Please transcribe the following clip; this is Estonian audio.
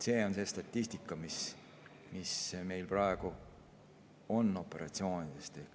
See on see statistika, mis meil praegu on operatsioonide kohta.